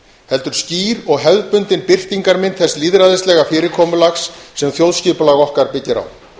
heldur skýr og hefðbundin birtingarmynd þess lýðræðislega fyrirkomulags sem þjóðskipulag okkar byggir á